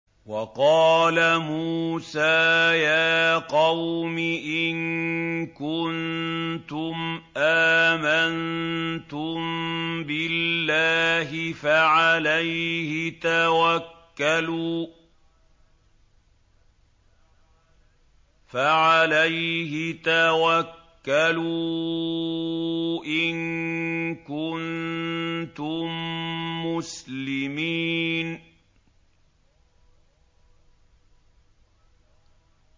وَقَالَ مُوسَىٰ يَا قَوْمِ إِن كُنتُمْ آمَنتُم بِاللَّهِ فَعَلَيْهِ تَوَكَّلُوا إِن كُنتُم مُّسْلِمِينَ